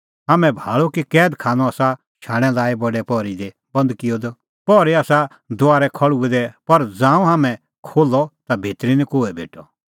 हाम्हैं भाल़अ कि कैद खानअ आसा शाणैं लाई बडै पहरै दी बंद किअ द पहरी आसा दुआरै खल़्हुऐ दै पर ज़ांऊं हाम्हैं खोल्हअ ता भितरी निं कोहै भेटअ